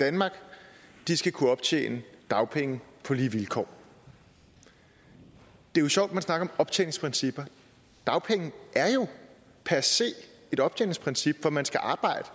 danmark skal kunne optjene dagpenge på lige vilkår det er sjovt at man snakker optjeningsprincipper dagpenge er jo per se et optjeningsprincip for man skal arbejde